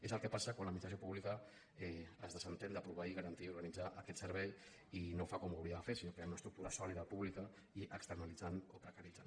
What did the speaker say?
és el que passa quan l’administració pública es desentén de proveir garantir i organitzar aquest servei i no ho fa com ho hauria de fer creant una estructura sòlida pú·blica sinó externalitzant o precaritzant